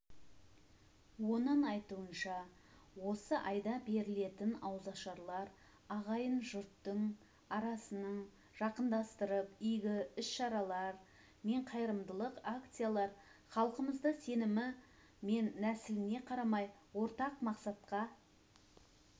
оның айтуынша осы айда берілетін ауызашарлар ағайын-жұрттың арасын жақындастырып игі іс-шаралар мен қайырымдылық акциялар халқымызды сенімі мен нәсіліне қарамай ортақ мақсатқа